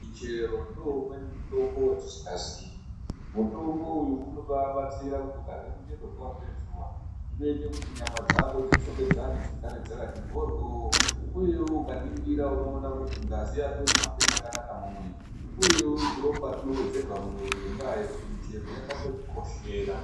Muchero ndoo umweni mutombo watisikaziyi. Mutombo uyu unobabatsira kuti ukarye muchero zuwa ngezuwa zvinoite kuti nyama dzako dzidzokedzane dzigare dzakati mboryo, uyewo ukaningira unoona kuti ngazi yako inohambe chakanaka mumwiri, uyewo ropa rinowedzerwa mumwiri ngendaa yekuti michero yakatotikoshera.